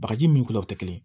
Bagaji min kunkolo tɛ kelen ye